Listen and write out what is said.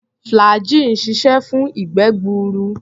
Flagggyl ń ṣiṣẹ́ fún ìgbé-gbuur.